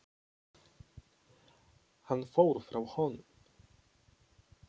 Hann fór frá honum.